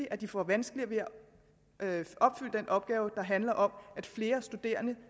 at de får vanskeligere ved at opfylde den opgave der handler om at flere studerende